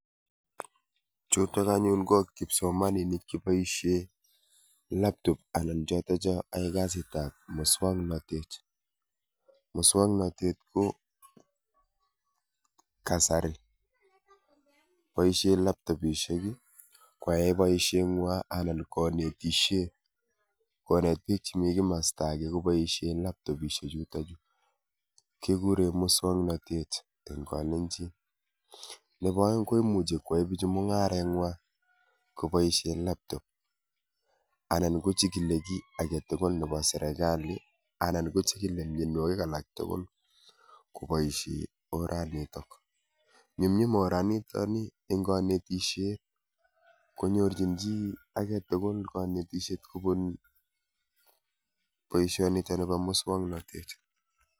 Chutok anyun ko kipsomaninik cheboishe laptop anan chotocho yoe kasitap muswoknotet. Muswoknotet ko kasari boishe laptopishek kwae boisheng'wa anan konetishe, konet biik chemi kimosta ake koboishe laptopishechutochu, kikure muswoknotet eng kalennjin. Nepo oeng ko imuchi kwoe bichu mung'areng'wa koboishe laptop anan kochikili kiy aketukul nepo serekali anan kochikile mienwokik alaktugul kopoishe oranitok . Nyumnyum oranitoni eng kanetishet konyorchin chi aketukul kanetishet kobun boishonitoni bo muswoknotet.